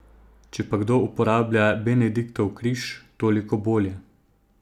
Če pa kdo uporablja Benediktov križ, toliko bolje.